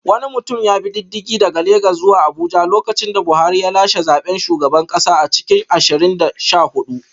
Wani mutum ya bi diddigi daga Legas zuwa Abuja lokacin da Buhari ya lashe zaben shugaban kasa a cikin ashirin da sha hudu